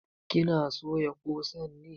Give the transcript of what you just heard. Ki na soya ƙosan ne?